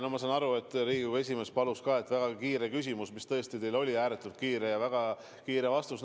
No ma saan aru, et Riigikogu esimees palus, et oleks väga kiire küsimus, ja see tõesti oli teil ääretult kiire, ja oleks ka väga kiire vastus.